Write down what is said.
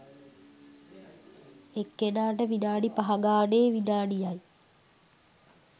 එක්කෙනාට විනාඩි පහ ගානේ විනාඩි යි